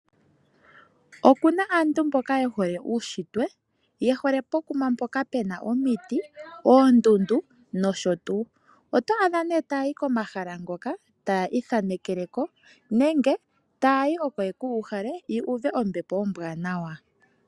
Opuna aantu mboka yehole uushitwe, yehole po kuma puna oondundu nosho tuu, oto adha nee aantu taya yi komahala ngoka e taya ithanekeleko nenge taya yi oko yekuuhale, yu uve ombepo ombwaanawa.